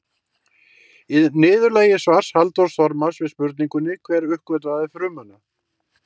Í niðurlagi svars Halldórs Þormars við spurningunni Hver uppgötvaði frumuna?